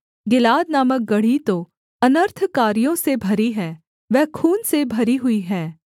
गिलाद नामक गढ़ी तो अनर्थकारियों से भरी है वह खून से भरी हुई है